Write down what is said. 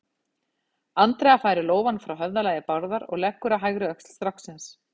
Andrea færir lófann frá höfðalagi Bárðar og leggur á hægri öxl stráksins.